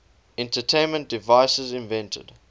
entertainment devices invented